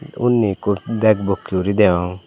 tey unni ikko bag bokkey uri deyong.